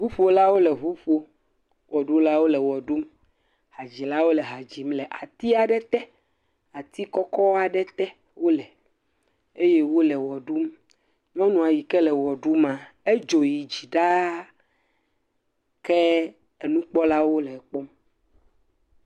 Ŋuƒolawo le ŋu ƒom. Wɔɖulawo le wɔ ɖum. Hadzilawo le ha dzim le ati aɖe te. Ati kɔkɔ aɖe tee wole eye wole wɔ ɖum. Nyɔnu aɖe yi ke le wɔ ɖumaa, edzo yi dzi ɖaa. Ke enukpɔlawo le ekpɔm.